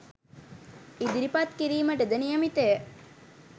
ඉදිරිපත් කිරීමටද නියමිතය